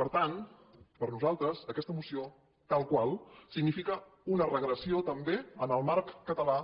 per tant per nosaltres aquesta moció tal qual significa una regressió també en el marc català